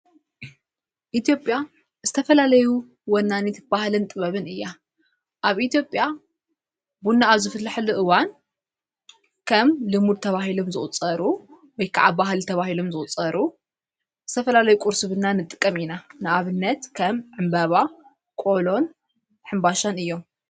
ኢትዮጵያ ዝተፈላለይ ወናኔት በሃለን ጥበብን እያ ኣብ ኢትኦጴያ ብናኣብ ዝፍትላሕሊ እዋን ከም ልሙድ ተብሂሎም ዘወጸሩ ወይከዓብ ባህሊ ተብሂሎም ዘወጸሩ እዝተፈላለይ ቊርስብና ንጥቀም ኢና ንኣብነት ከም ዕምበባ ቆሎን ሓምባሻን እዮም::